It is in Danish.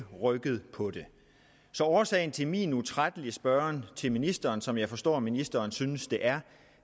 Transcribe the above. rykket på det så årsagen til min utrættelige spørgen til ministeren som jeg forstår ministeren synes det er